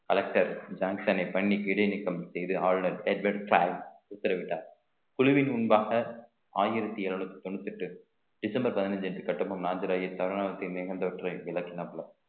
collector ஜான்சனை பண்ணி இடைநீக்கம் செய்து ஆளுநர் உத்தரவிட்டார் குழுவின் முன்பாக ஆயிரத்தி இருநூத்தி தொண்ணூத்தி எட்டு டிசம்பர் பதினஞ்சு அன்று கட்டபொம்மன் நாஞ்சிராயன் சரணாலயத்தில் மிகுந்தவற்றை விளக்கினாப்புல